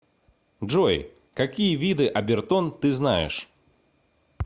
джой какие виды обертон ты знаешь